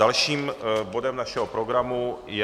Dalším bodem našeho programu je